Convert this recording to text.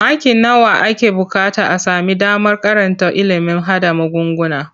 Maki nawa ake buƙata a sami damar karanta ilimin haɗa magunguna?